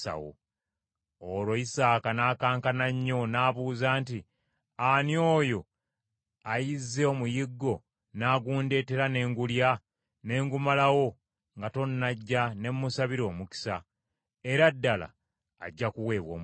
Olwo Isaaka n’akankana nnyo n’abuuza nti, “Ani oyo ayizze omuyiggo n’agundeetera ne ngulya ne ngumalawo nga tonnajja ne mmusabira omukisa? Era ddala ajja kuweebwa omukisa.”